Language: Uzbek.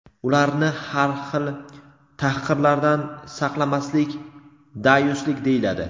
ularni har xil tahqirlardan saqlamaslik "dayuslik" deyiladi.